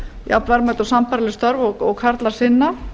jafnverðmæt og sambærileg störf og karlar sinna